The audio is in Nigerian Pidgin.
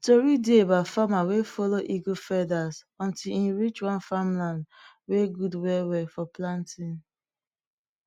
tori dey about farmer wey follow eagle feathers until em reach one farmland wey good well well for planting